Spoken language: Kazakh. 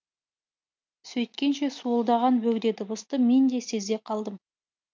сөйткенше суылдаған бөгде дыбысты мен де сезе қалдым